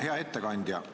Hea ettekandja!